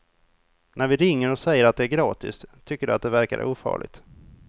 När vi ringer och säger att det är gratis tycker de att det verkar ofarligt.